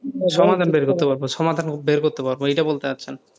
সমাধান বের করতে পারব, সমাধান বের করতে পারব এটা বলতে চাইছেন,